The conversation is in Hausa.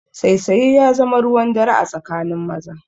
Saisaye ya zama ruwan dare a tsakanin maza